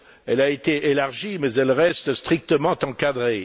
Elle a été élargie mais elle reste strictement encadrée.